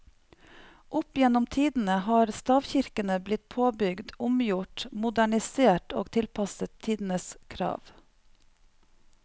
Opp gjennom tidene har stavkirkene blitt påbygd, omgjort, modernisert og tilpasset tidenes krav.